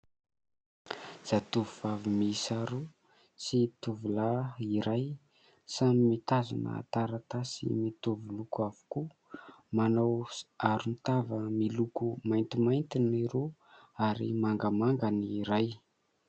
Zatovovavy mihisa roa sy tovolahy iray samy mitazona taratasy mitovy loko avokoa. Manao aro tava miloko maintimainty ny roa ary mangamanga ny iray.